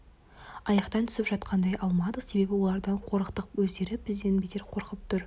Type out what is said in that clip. айықтан түсіп жақындай алмадық себебі олардан қорықтық өздері бізден бетер қорқып тұр